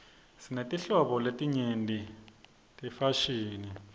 sinetinhlobo letinyenti tefashini